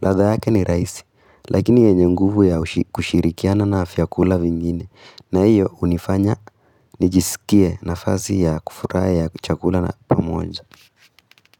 Ladha yake ni rahisi, lakini yenye nguvu ya kushirikiana na vyakula vingine. Na hiyo hunifanya nijisikie nafazi ya kufurahi ya chakula na pamoja.